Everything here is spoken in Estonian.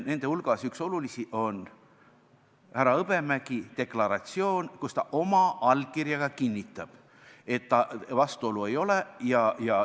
Nende hulgas üks olulisi on härra Hõbemäe deklaratsioon, milles ta oma allkirjaga kinnitab, et tema puhul vastuolu ei ole.